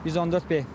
114B.